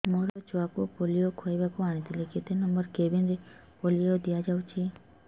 ମୋର ଛୁଆକୁ ପୋଲିଓ ଖୁଆଇବାକୁ ଆଣିଥିଲି କେତେ ନମ୍ବର କେବିନ ରେ ପୋଲିଓ ଦିଆଯାଉଛି